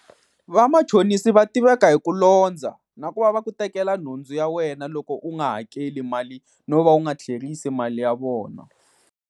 Vamachonisi va tiveka hi ku londza, na ku va va ku tekela nhundzu ya wena loko u nga hakeli mali no va u nga tlherisi mali ya vona.